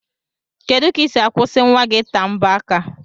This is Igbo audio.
Kedu ka isi akwụsi nwa gi ita mbo aka?